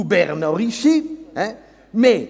ou « Berne enrichit »!